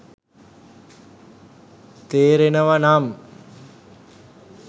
තේරෙනව නම්